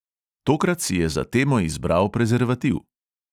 Tokrat si je za temo izbral prezervativ.